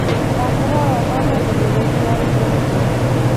Ndakũhoya ũthome ndũmĩrĩri ya i-mīrū njerũ